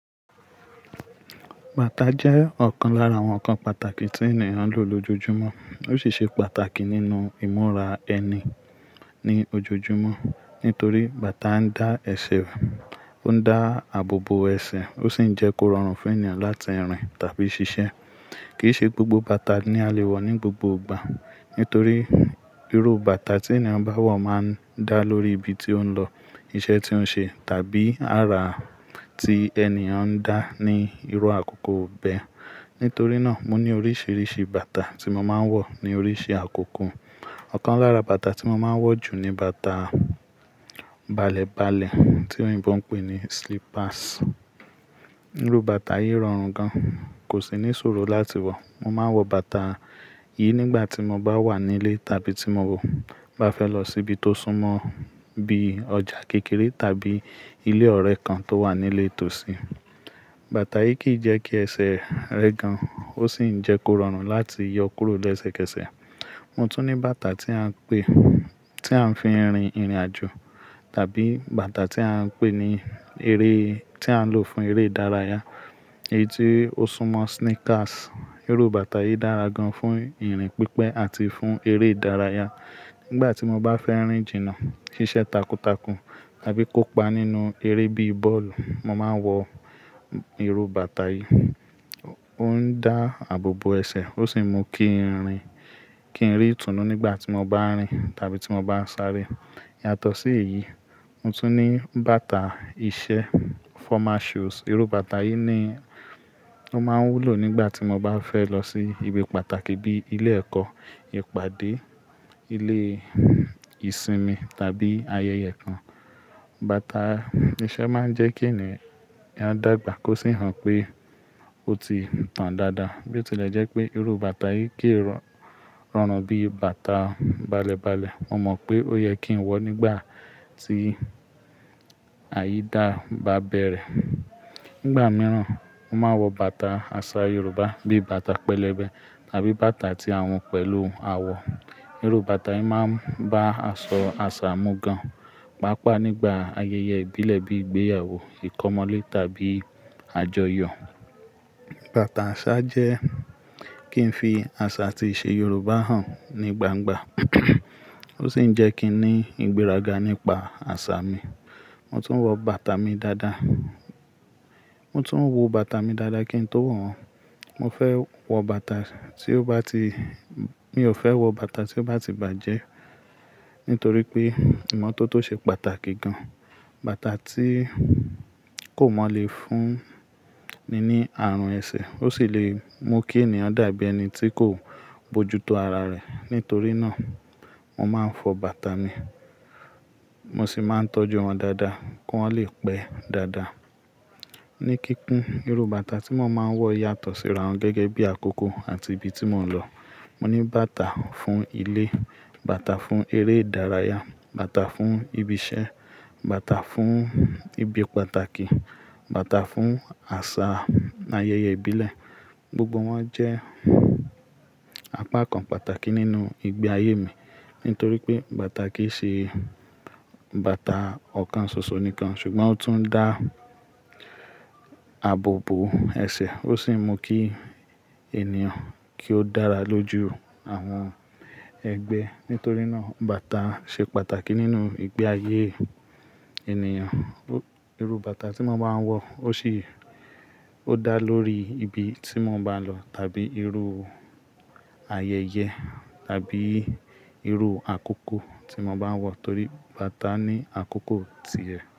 Bàtà jẹ́ ọ̀kan lára àwọn ǹkan pàtàkì tí ènìyàn ń lò lójoojúmọ́. Ó sì ṣe pàtàkì nínú ìmúra ẹni ní ojoojúmọ́ nítorí bàtà ń dá ẹ̀sẹ̀, ó ń dá àbò bo ẹ̀sẹ̀, ó sì ń jẹ́ kó rọrùn fún ènìyàn láti rìn tàbí ṣiṣẹ́. Kì í ṣe gbogbo bàtà ni a lè wọ̀ ní gbogbo ìgbà nítorí irú bàtà tí ènìyàn bá wọ̀ máa ń dá lórí ibi tí ó ń lọ, iṣẹ́ tí ó ń ṣe tàbí ara tí ènìyàn ń dá ní irú àkókò bẹ́ẹ̀. Nítorí náà, mo ní oríṣiríṣi bàtà tí mo máa ń wọ̀ ní oríṣi àkókò. Ọ̀kan lára bàtà tí mo máa ń wọ̀ jù ni bàtà balẹ̀balẹ̀ tí òyìnbó ń pè ní slippers. Irú bàtà yìí rọrùn gan, kò sì ní ṣòro láti wọ̀. Mo máa ń wọ bàtà yìí nígbà tí mo bá wà nílé tàbí tí mo bá fẹ́ lọ síbi tó súnmọ́ bíi ọjà kékeré tàbí ilé ọ̀rẹ́ kan tó wà nílé tòsí. Bàtà yìí kì í jẹ́ kí ẹsẹ̀ rẹ gan, ó sì ń jẹ́ kó rọrùn láti yọ kúrò lẹsẹkẹsẹ̀. Mo tún ní bàtà tí à ń pè-- tí à ń fi ń rin ìrìnàjò tàbí bàtà tí à ń pè ní eré-- tí à ń lò fún eré ìdárayá, èyí tí ó súnmọ́ sneakers. Irú bàtà yìí dára gan fún ìrìn pípẹ́ àti fún eré ìdárayá. Nígbà tí mo bá fẹ́ rìn jìnnà, ṣíṣe takuntakun tàbí kópa nínú eré bíi bọ́ọ̀lù, mo máa ń wọ irú bàtà yìí. Ó ń dá àbò bo ẹ̀sẹ̀, ó sì ń mú kí ń rìn-- kí ń rí ìtùnú nígbà tí mo bá ń rìn tàbí tí mo bá ń sáré. Iyàtọ̀ sí èyí, mo tún ní bàtà iṣẹ́, formal shoes. Irú bàtà yìí ni o máa ń wulò nígbà tí mo bá fẹ́ lọ sí ibi pàtàkì bíi ilé ẹ̀kọ́, ìpàdé, ilé ìsinmi tàbí ayẹyẹ kan. Bàtà iṣẹ́ máa ń jẹ́ kí ènìyàn dàgbà kó sì hàn pé ó ti ń tàn dáadáa. Bí ó tilẹ̀ jẹ́ pé irú bàtà yìí kì í rọrùn bí bàtà balẹ̀balẹ̀, mo mọ̀ pé ó yẹ kí ń wọ̀ ọ́ nígbà tí àyída bá bẹ̀rẹ̀. Nígbà mìíràn, mo máa ń wọ bàtà àṣà Yorùbá bíi bàtà pẹlẹbẹ tàbí bàtà tí à ń hun pẹ̀lú àwọ̀. Irú bàtà yìí máa ń bá aṣọ àṣà mu gan, pàápàá nígbà ayẹyẹ ìbílẹ̀ bíi ìgbéyàwó, ìkọ́mọlé tàbí àjọyọ̀. Bàtà àṣà jẹ́ kí ń fi àṣà àti ìṣe Yorùbá hàn ní gbangba. Ó sì ń jẹ́ kí n ní ìgbéraga nípa àṣà mi. Mo tún ń wọ bàtà mi dáadáa. Mo tún ń wò bàtà mi dáadáa kí ń tó wọ̀ won Mo fẹ́ wọ bàtà tí ó bá ti-- mi ò fẹ́ wọ bàtà tí ó bá ti bàjẹ́ nítorí pé ìmọ́tótó ṣe pàtàkì gan. Bàtà tí kò mọ́ le fún ni ní àrùn ẹ̀sẹ̀, ó sì lè mú kí ènìyàn dàbí ẹni tí kò bojútó ara rẹ̀. Nítorí náà, mo máa ń fọ bàtà mi, mo sì máa ń tọ́jú wọn dáadáa kí wọ́n lè pẹ́ dáadáa. Ní kíkún, irú bàtà tí mo máa ń wọ yàtọ̀ síra won gẹ́gẹ́ bí àkókò àti ibi tí mò ń lọ. Mo ní bàtà fún ilé, bàtà fún eré ìdárayá, bàtà fún ibi iṣẹ́, bàtà fún ibi pàtàkì, bàtà fún àṣà ayẹyẹ ìbílẹ̀. Gbogbo wọn jẹ́ àpá kan pàtàkì nínú ìgbé ayé mi, nítorí pé bàtà kì í ṣe bàtà ọ̀kan ṣoṣo nìkan, ṣùgbọ́n ó tún ń dá àbò bo ẹ̀sẹ̀, ó sì ń mú kí ènìyàn kí ó dára lójú àwọn ẹgbẹ́. Nítorí náà, bàtà ṣe pàtàkì nínú ìgbé ayé ènìyàn. Irú bàtà tí mo máa ń wọ ó sì ò dá lórí ibi tí mo bá lọ tàbí irú ayẹyẹ tàbí irú àkókò tí mo bá wọ̀ nítorí bàtà ní àkókò ti ẹ̀.